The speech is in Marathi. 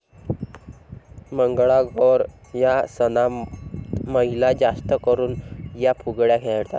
मंगळागौर या सनातमहिला जास्त करून या फुगड्या खेळतात.